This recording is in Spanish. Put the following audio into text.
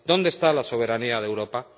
¿Dónde está la soberanía de Europa?